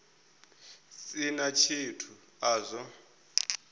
si na tshithu a zwo